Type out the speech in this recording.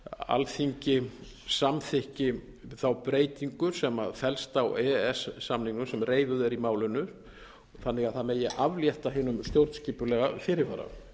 alþingi samþykki þá breytingu sem felst á e e s samningnum sem reifuð er í málinu þannig að það megi aflétta hinum stjórnskipulega fyrirvara